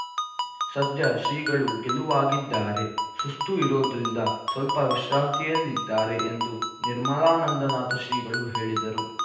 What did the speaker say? ಸದ್ಯ ಶ್ರೀಗಳು ಗೆಲುವಾಗಿದ್ದಾರೆ ಸುಸ್ತು ಇರೋದ್ರಿಂದ ಸ್ವಲ್ಪ ವಿಶ್ರಾಂತಿಯಲ್ಲಿದ್ದಾರೆ ಎಂದು ನಿರ್ಮಲಾನಂದನಾಥ ಶ್ರೀಗಳು ಹೇಳಿದರು